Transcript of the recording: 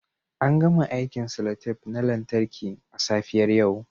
An gama aikin cellotape na lantarki a safiyar yau